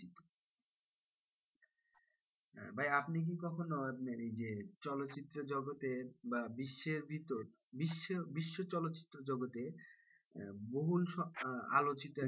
ভাই আপনি কি কখনো আপনার এই যে চলচ্চিত্র জগতের বা বিশ্বের ভিতর বিশ্ব বিশ্বচলচ্চিত্র জগতে বহুল আলোচিত,